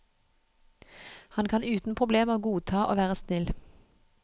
Han kan uten problemer godta å være snill.